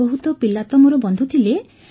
ବହୁତ ପିଲା ତ ମୋର ବନ୍ଧୁ ଥିଲେ